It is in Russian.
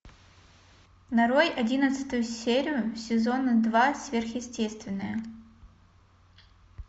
нарой одиннадцатую серию сезона два сверхъестественное